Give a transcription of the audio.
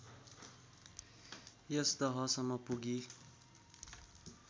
यस दहसम्म पुगी